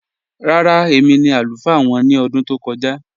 Rárá, èmi ni alufaa wọn ni ọdún tó kọ̀ja